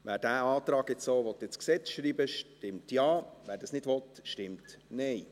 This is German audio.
Wer diesen Antrag jetzt so ins Gesetz schreiben will, stimmt Ja, wer das nicht will, stimmt Nein.